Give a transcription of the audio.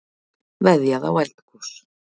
Veðjað á eldgos